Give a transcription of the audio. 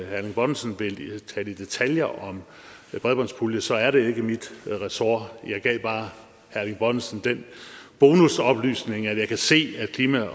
erling bonnesen vil tale i detaljer om bredbåndspuljen så er det ikke mit ressort jeg gav bare herre erling bonnesen den bonusoplysning at jeg kan se at klima